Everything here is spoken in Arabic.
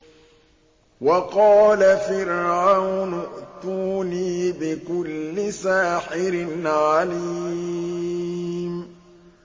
وَقَالَ فِرْعَوْنُ ائْتُونِي بِكُلِّ سَاحِرٍ عَلِيمٍ